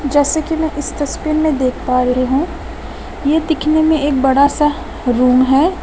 जैसे कि मैं इस तस्वीर में देख पा रही हूं यह देखने में एक बड़ा सा रूम है।